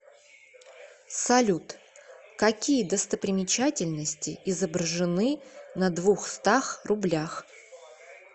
салют какие достопримечательности изображены на двухстах рублях